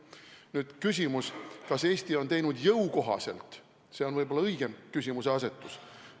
Nüüd küsimus, kas Eesti on teinud jõukohaselt – see on võib-olla õigem küsimuseasetus.